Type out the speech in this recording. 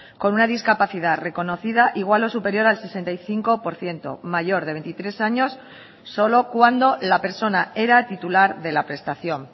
con una discapacidad reconocida igual o superior al sesenta y cinco por ciento mayor de veintitrés años solo cuando la persona era titular de la prestación